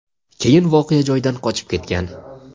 keyin voqea joyidan qochib ketgan.